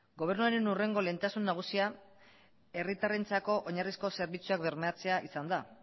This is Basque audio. gobernuaren hurrengo lehentasun nagusia herritarrentzako oinarrizko zerbitzuak bermatzea izan da